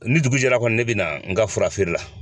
Ni dugu jɛra kɔni ne bina an ka fura ko la